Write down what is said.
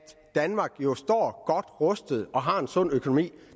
danmark jo står godt rustet og har en sund økonomi